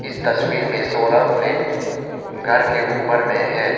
इस तस्वीर में सोलर प्लेट घर के ऊपर में है।